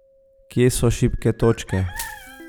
Kje so šibke točke?